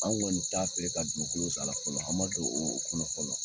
An kɔni t'a feere ka dugukolo sa a la fɔlɔ, an ma don o kɔnɔ fɔlɔ